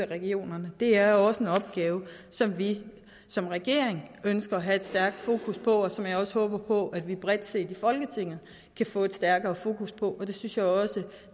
regionerne det er også en opgave som vi som regering ønsker at have stærkt fokus på og som jeg også håber på at vi bredt i folketinget kan få et stærkere fokus på det synes jeg også